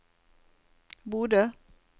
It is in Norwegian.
Bodø